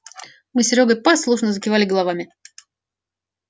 мы с серёгой послушно закивали головами